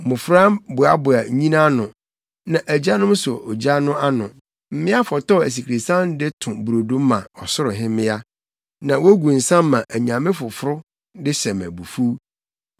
Mmofra boaboa nnyina ano, na agyanom sɔ ogya no ano, mmea fɔtɔw asikresiam de to brodo ma Ɔsoro Hemmea. Na wogu nsa ma anyame afoforo de hyɛ me abufuw.